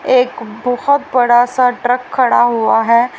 एक बहुत बड़ा सा ट्रक खड़ा हुआ है।